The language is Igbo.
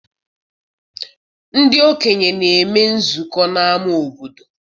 Ndị okenye na-eme nzukọ n'ama obodo.